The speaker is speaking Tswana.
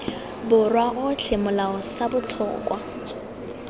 borwa otlhe molao sa botlhokwa